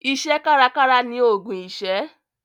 Iṣẹ́ kárakára ni ògùn ìṣẹ́.